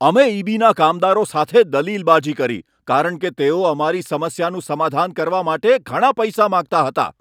અમે ઈ.બી.ના કામદારો સાથે દલીલબાજી કરી કારણ કે તેઓ અમારી સમસ્યાનું સમાધાન કરવા માટે ઘણા પૈસા માંગતા હતા.